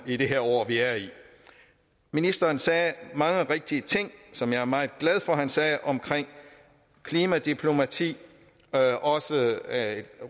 i det år vi er i ministeren sagde mange rigtige ting som jeg er meget glad for at han sagde omkring klimadiplomati også